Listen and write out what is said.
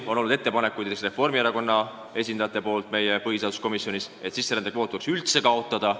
Reformierakonna esindajad põhiseaduskomisjonis tegid aga ettepaneku sisserändekvoot üldse kaotada.